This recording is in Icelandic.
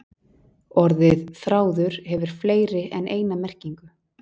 Orðið þráður hefur fleiri en eina merkingu.